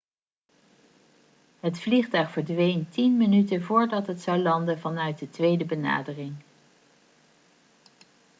het vliegtuig verdween 10 minuten voordat het zou landen vanuit de tweede benadering